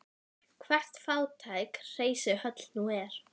Hvert fátækt hreysi höll nú er.